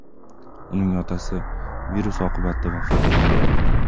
Uning otasi virus oqibatida vafot etgandi.